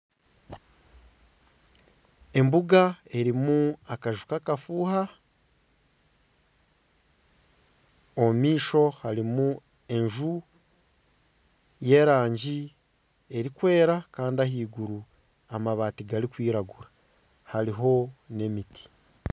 Embuga erimu akanju k'akafuuha omumaisho harimu enju y'erangi erikwera kandi ahaiguru amabaati garikwiragura hariho n'emiti.